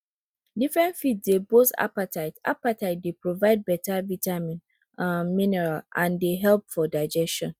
different feeds dey boost appetite appetite dey provide better vitamin um minerals and dey help for digestion